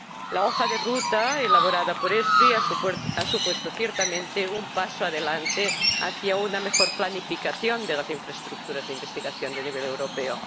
La hoja de ruta elaborada por ESFRI ha supuesto, ciertamente, un paso adelante hacia una mejor planificación de las infraestructuras de investigación de nivel europeo.